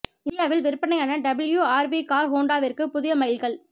இந்தியாவில் விற்பனையான W R V car ஹோண்டாவிற்கு புதிய மைல் கல்